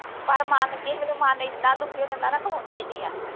ਪਰ ਮਨ ਕਿਸੇ ਵੇਲੇ ਮਨ ਐਨਾ ਦੁਖੀ ਹੋ ਜਾਂਦਾ ਆ ਨਾ ਖਲੋਂਦਾ ਹੀ ਨਹੀਂ ਆ